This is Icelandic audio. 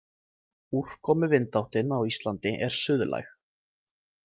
Úrkomu-vindáttin á Íslandi er suðlæg.